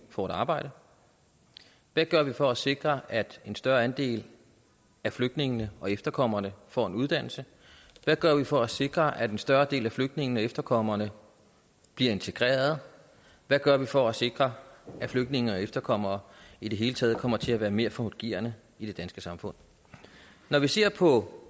får et arbejde hvad gør vi for at sikre at en større andel af flygtningene og efterkommerne får en uddannelse hvad gør vi for at sikre at en større del af flygtningene og efterkommerne bliver integreret hvad gør vi for at sikre at flygtninge og efterkommere i det hele taget kommer til at være mere fungerende i det danske samfund når vi ser på